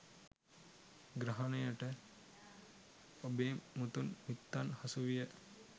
ග්‍රහණයට ඔබේ මුතුන් මිත්තන් හසුවිය.